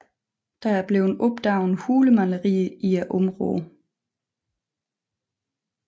Der er blevet opdaget hulemalerier i området